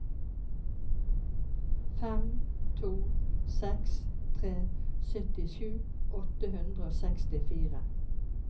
fem to seks tre syttisju åtte hundre og sekstifire